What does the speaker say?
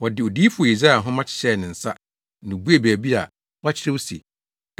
Wɔde Odiyifo Yesaia nhoma hyɛɛ ne nsa na obuee baabi a wɔakyerɛw se,